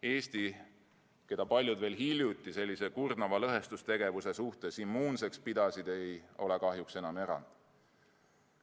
Eesti, keda paljud veel hiljuti sellise kurnava lõhestustegevuse suhtes immuunseks pidasid, ei ole kahjuks enam erand.